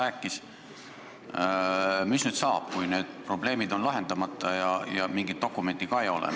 Mis nüüd saab, kui need probleemid on lahendamata ja mingit dokumenti ka ei ole?